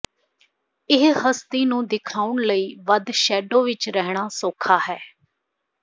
ਇਹ ਹਸਤੀ ਨੂੰ ਦਿਖਾਉਣ ਲਈ ਵੱਧ ਸ਼ੈਡੋ ਵਿਚ ਰਹਿਣਾ ਸੌਖਾ ਹੈ